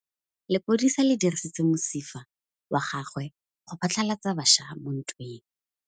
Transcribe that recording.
Lepodisa le dirisitse mosifa wa gagwe go phatlalatsa batšha mo ntweng.